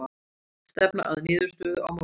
Stefna að niðurstöðu á morgun